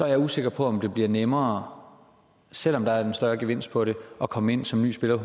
jeg usikker på om det bliver nemmere selv om der er en større gevinst på det at komme ind som ny spiller